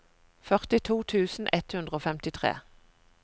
førtito tusen ett hundre og femtitre